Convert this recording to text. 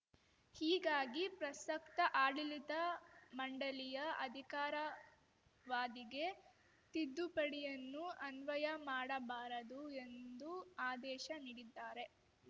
ಹೀಗಾಗಿ ಪ್ರಸಕ್ತ ಆಡಳಿತ ಮಂಡಳಿಯ ಅಧಿಕಾರಾವಾಧಿಗೆ ತಿದ್ದುಪಡಿಯನ್ನು ಅನ್ವಯ ಮಾಡಬಾರದು ಎಂದು ಆದೇಶ ನೀಡಿದ್ದಾರೆ